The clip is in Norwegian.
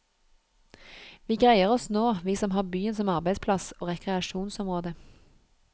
Vi greier oss nå, vi som har byen som arbeidsplass og rekreasjonsområde.